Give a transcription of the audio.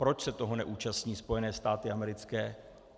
Proč se toho neúčastní Spojené státy americké?